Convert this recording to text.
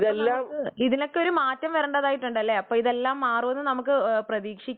അപ്പൊ ഇതിനൊക്കെ ഒരു മാറ്റം വരേണ്ടതായിട്ടുണ്ട് അല്ലെ അപ്പൊ ഇതെല്ലാം മാറുമെന്ന് പ്രതീക്ഷിക്കാം